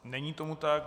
Není tomu tak.